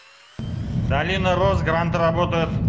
долина роз гранд работает